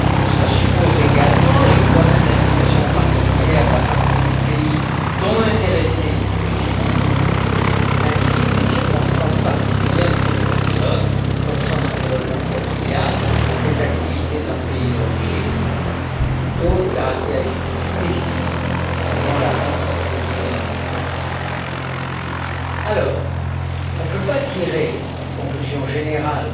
Cela suppose également l'examen de la situation particulière de la partie du pays dont l'intéressé est originaire, ainsi que des circonstances particulières de cette personne, comme son environnement familial, ses activités dans le pays d'origine ou toute autre caractéristique spécifique pouvant la rendre plus vulnérable. On ne peut pas tirer de conclusions générales